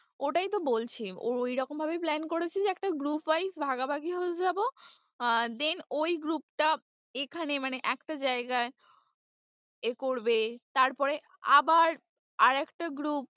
ওটাই তো বলছি ঐরকম ভাবেই plan করেছি যে একটা group wise ভাগাভাগি হয়ে যাবো আহ then ওই group টা এখানে মানে একটা জায়গায় এ করবে তারপরে আবার আর একটা group